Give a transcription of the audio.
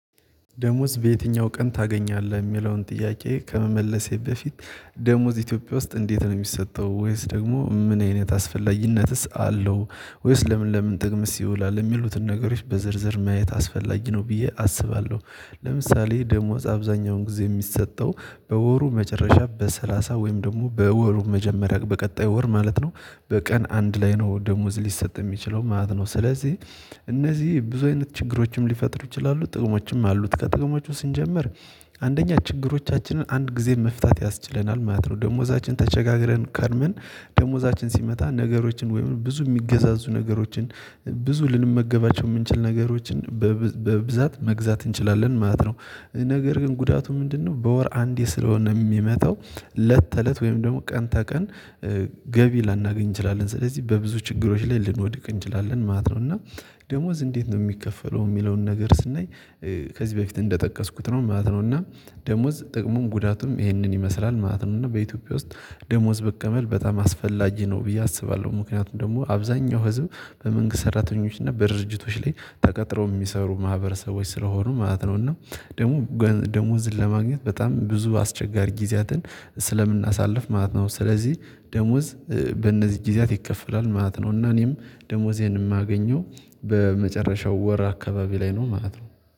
ደሞዝ በየትኛው ቀን ታገኛለህ የሚለውን ጥያቄ ከመመለሴ በፊት ደሞዝ ኢትዮጵያ ውስጥ እንዴት ነው የሚሰጠው ወይስ ደግሞ ምን አይነት አስፈላጊነትስ አለው ወይስ ለምን ለምን ጥቅምስ ይውላል የሚሉትን ነገሮች በዝርዝር ማየት አስፈላጊ ነው ብዬ አስባለሁ። ለምሳሌ ደሞዝ አብዛኛውን ጊዜ የሚሰጠው በወሩ መጨረሻ በሰላሳ ወይም ደግሞ በወሩ መጀመሪያ በቀጣዩ ወር ማለት ነው። በቀን አንድ ላይ ነው ደሞዝ ሊሰጥ የሚችለው ማለት ነው። ስለዚህ እነዚህ ብዙ አይነት ችግሮችም ሊፈጥሩ ይችላሉ ጥቅሞችም አሉት ከጥቅሞቹ ስንጀምር። አንደኛ ችግሮቻችንን አንድ ጊዜ መፍታት ያስችለናል ማለት ነው። ደሞዛችን ተቸጋግረን ከርምን ደሞዛችን ሲመጣ ነገሮችን ወይም ብዙ የሚገዛዙ ነገሮችን ብዙ ልንመገባቸው የምንችል ነገሮችን በብዛት መግዛት እንችላለን ማለት ነው። ነገር ግን ጉዳቱ ምንድነው? በወር አንዴ ስለሆነ የሚመጣው ለት ተለት ወይም ደግሞ ቀን ተቀን ገቢ ላናገኝ እንችላለን ስለዚህ በብዙ ችግሮች ላይ ልንወድቅ እንችላለን ማለት ነው። እና ደሞዝ እንዴት ነው የሚከፈለው የሚለውን ነገር ስናይ። ከዚህ በፊት እንደጠቀስኩት ነው ማለት ነው። እና ደሞዝ ጥቅሙን ጉዳቱም ይህንን ይመስላል ማለት ነው። እና በኢትዮጵያ ውስጥ ደሞዝ በቀበል በጣም አስፈላጅ ነው ብዬ አስባለሁ። ምክንያቱም ደግሞ አብዛኛው ህዝብ በመንግስት ሰራተኞች እና በድርጅቶች ላይ ተቀጥረው የሚሰሩ ማህበረሰቦች ስለሆኑ ማለት ነው እና ደግሞ ደሞዝን ለማግኘት በጣም ብዙ አስቸጋሪ ጊዜያትን ስለምናሳልፍ ማለት ነው። ስለዚህ ደሞዝ በእነዚህ ጊዜያት ይከፈላል ማለት ነው። እና እኔም ደሞዜን የማገኘው በመጨረሻው ወር አካባቢ ላይ ነው ማለት ነው